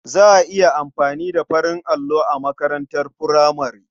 Za a iya amfani da farin allo a makarantar furamare.